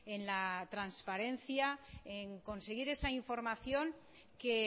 en la transparencia en conseguir esa información que